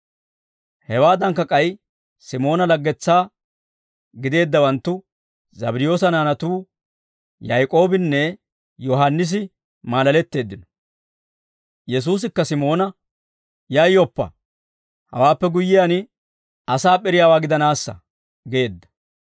Hewaadankka k'ay Simoona laggetsaa gideeddawanttu Zabddiyoosa naanatuu Yaak'oobinne Yohaannisi maalaletteeddino. Yesuusikka Simoona, «Yayyoppa hawaappe guyyiyaan asaa p'iriyaawaa gidanaassa» geedda.